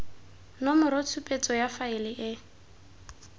nomoro tshupetso ya faele e